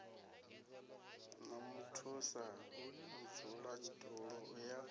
na muthusa mudzulatshidulo u ya